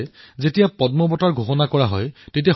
তেওঁক canal man of the Orissa বুলি এনেয়ে নকয়